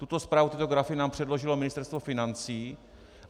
Tuto zprávu, tyto grafy nám předložilo Ministerstvo financí.